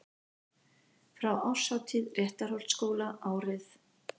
Frá árshátíð Réttarholtsskóla árið